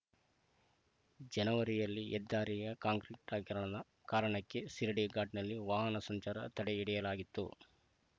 ಜನವರಿಯಲ್ಲಿ ಹೆದ್ದಾರಿಯ ಕಾಂಕ್ರೀಟಿಕರಣ ಕಾರಣಕ್ಕೆ ಶಿರಾಡಿ ಘಾಟ್‌ನಲ್ಲಿ ವಾಹನ ಸಂಚಾರ ತಡೆ ಹಿಡಿಯಲಾಗಿತ್ತು